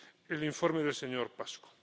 el informe del señor Paşcu.